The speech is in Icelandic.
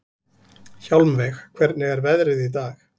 Hjálmveig, hvernig er veðrið í dag?